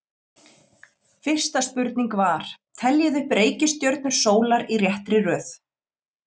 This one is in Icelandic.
Fyrsta spurning var: Teljið upp reikistjörnur sólar í réttri röð.